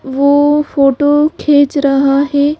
वो फोटो खींच रहा है।